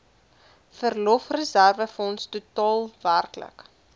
verlofreserwefonds totaal werklik